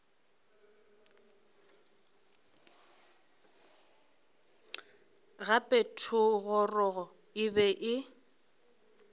gape thogorogo e be e